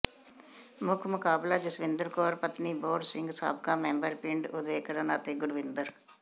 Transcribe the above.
ਮੁੱਖ ਮੁਕਾਬਲਾ ਜਸਵਿੰਦਰ ਕੌਰ ਪਤਨੀ ਬੋਹੜ ਸਿੰਘ ਸਾਬਕਾ ਮੈਂਬਰ ਪਿੰਡ ਉਦੇਕਰਨ ਅਤੇ ਗੁਰਵਿੰਦਰ